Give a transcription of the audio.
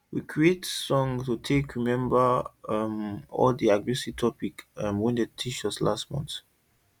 we creat song to take remember um all the agriskill topic um wey dem teach um last month